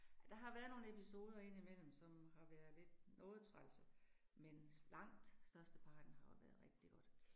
Ja, der har været nogle episoder indimellem, som har været lidt, noget trælse, men langt størsteparten har været rigtig godt